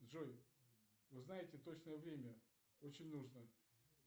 джой узнайте точное время очень нужно